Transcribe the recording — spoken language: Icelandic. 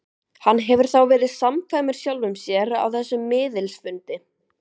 Hann hefur þá verið samkvæmur sjálfum sér á þessum miðilsfundi.